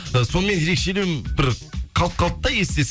ы сонымен ерекшелеу бір қалып қалды да есте